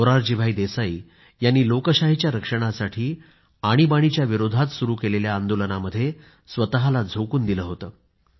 मोरारजीभाई देसाई यांनी लोकशाहीच्या रक्षणासाठी आणीबाणीच्या विरोधात सुरू केलेल्या आंदोलनामध्ये स्वतःला झोकून दिलं होतं